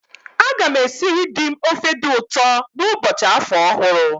A gam esịrị di m ofe di ụtọ n'ụbọchị afọ ọhụrụ